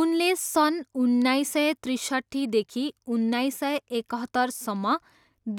उनले सन् उन्नाइस सय त्रिसट्ठीदेखि उन्नाइस सय एकहत्तरसम्म